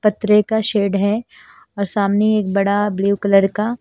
पतरे का शेड है और सामने एक बड़ा ब्लू कलर का--